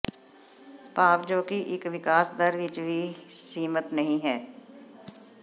ਭਾਵ ਜੋ ਕਿ ਇੱਕ ਵਿਕਾਸ ਦਰ ਵਿੱਚ ਹੀ ਸੀਮਿਤ ਨਹੀ ਹੈ